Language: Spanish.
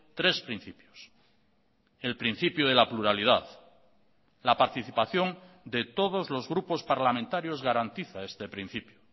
tres principios el principio de la pluralidad la participación de todos los grupos parlamentarios garantiza este principio